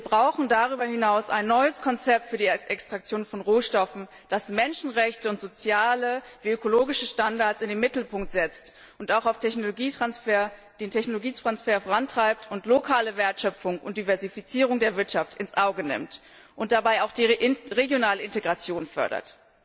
Wir brauchen darüber hinaus ein neues Konzept für die Extraktion von Rohstoffen, das Menschenrechte und soziale wie ökologische Standards in den Mittelpunkt stellt, das auch den Technologietransfer vorantreibt, lokale Wertschöpfung und Diversifizierung der Wirtschaft in den Blick nimmt und dabei auch die regionale Integration fördert.